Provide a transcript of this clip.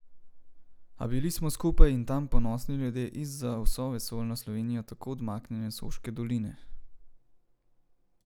A bili smo skupaj in tam, ponosni ljudje iz za vso vesoljno Slovenijo tako odmaknjene Soške doline.